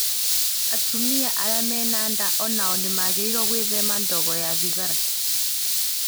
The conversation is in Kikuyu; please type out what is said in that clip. Atumia arĩa marĩ na nda o nao nĩ magĩrĩirũo gwĩthema ndogo ya thigara.